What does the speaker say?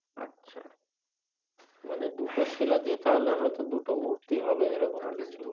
মানে দুটো শীলা দিয়ে তাহলে হয়তো দুটো মূর্তি হবে এই রকম কিছু